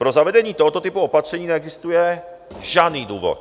Pro zavedení tohoto typu opatření neexistuje žádný důvod.